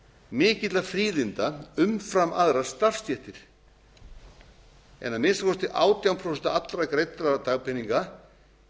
mikilla fríðinda umfram aðrar starfsstéttir en að minnsta kosti átján prósent allra greiddra dagpeninga